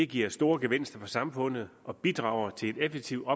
giver store gevinster for samfundet og bidrager til en effektiv